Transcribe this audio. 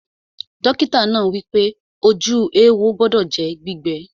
Dọ́kítà náà wípé, ojú éwo gbọdọ̀ jẹ́ gbígbẹ